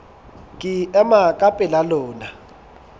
ke ema ka pela lona